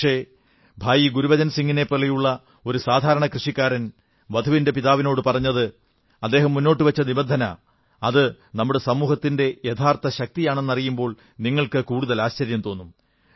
പക്ഷേ ഭായി ഗുരുബച്ചൻ സിംഗിനെപ്പോലുള്ള ഒരു സാധാരണ കൃഷിക്കാരൻ വധുവിന്റെ പിതാവിനോടു പറഞ്ഞത് അദ്ദേഹം മുന്നോട്ടു വച്ച നിബന്ധന അത് നമ്മുടെ സമൂഹത്തിന്റെ യഥാർഥ ശക്തിയാണെന്നറിയുമ്പോൾ നിങ്ങൾക്ക് ആശ്ചര്യം തോന്നും